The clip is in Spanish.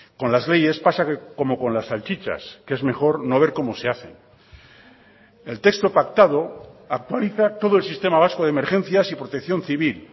con las leyes pasa como con las salchichas que es mejor no ver cómo se hacen el texto pactado actualiza todo el sistema vasco de emergencias y protección civil